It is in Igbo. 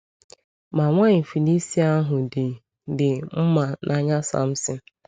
Ma nwaanyị Filistia ahụ dị dị mma n’anya Samson.